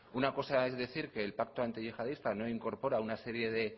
una cosa es decir que el pacto antiyihadista no incorpora una serie de